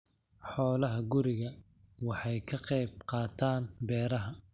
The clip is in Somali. Xoolaha gurigu waxay ka qayb qaataan beeraha.